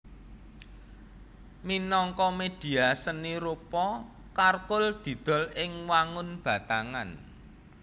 Minangka médhia seni rupa charcoal didol ing wangun batangan